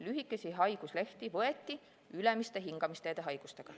Lühikesi haiguslehti võeti ülemiste hingamisteede haigustega.